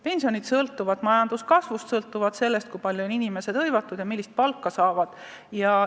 Pensionid sõltuvad majanduskasvust, sõltuvad sellest, kui palju inimesi tööl käib ja millist palka nad saavad.